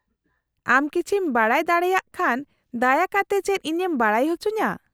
-ᱟᱢ ᱠᱤᱪᱷᱤᱢ ᱵᱟᱰᱟᱭ ᱫᱟᱲᱮᱭᱟᱜ ᱠᱷᱟᱱ ᱫᱟᱭᱟ ᱠᱟᱛᱮ ᱪᱮᱫ ᱤᱧᱮᱢ ᱵᱟᱰᱟᱭ ᱚᱪᱚᱧᱟ ?